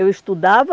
Eu estudava,